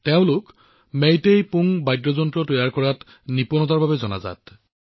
তেওঁ মেইটেই পুং বাদ্যযন্ত্ৰ তৈয়াৰ কৰাৰ নিপুণতাৰ বাবে জনাজাত